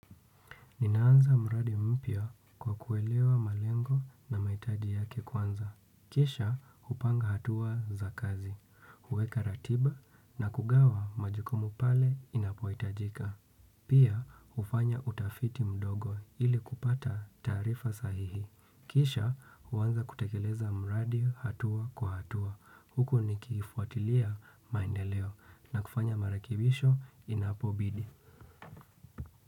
Ninaanza mradi mpya kwa kuelewa malengo na mahitaji yake kwanza. Kisha hupanga hatua za kazi, huweka ratiba na kugawa majukumu pale inapohitajika. Pia hufanya utafiti mdogo ili kupata taarifa sahihi. Kisha huanza kutekeleza mradi hatua kwa hatua. Huku nikifuatilia maendeleo na kufanya marekibisho inapobidi.